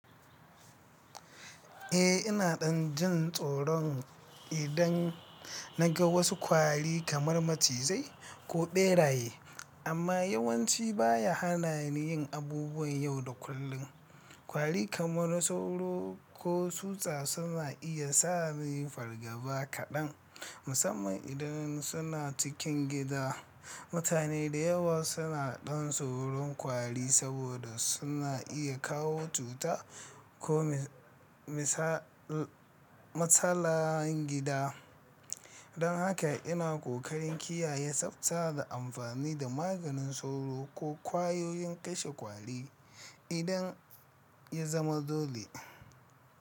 Eh, ina ɗan jin tsoron idan na ga wasu kwari kamar macizai ko ɓeraye, amma yawanci ba ya hana ni yin abubuwan yau da kullum. Kwari kamar sauro ko tsutsa suna iya sa ni fargaba kaɗan, musamman idan suna cikin gida. Mutane da yawa suna ɗan tsoron kwari saboda suna iya kawo cuta ko matsalan gida. Don haka ina ƙoƙarin kiyaye tsafta da amfani da maganin sauro ko ƙwayoyin kashe kwari idan ya zama dole.